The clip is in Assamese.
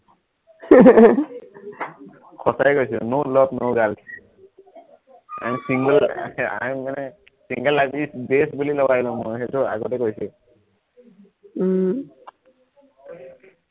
সঁচাই কৈছো no love, no girls, and single I am মানে single আজি বুলি লগাই লম মই সেইটো আগতেই কৈছো উম